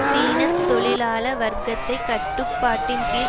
சீன தொழிலாள வர்க்கத்தை கட்டுப்பாட்டின் கீழ்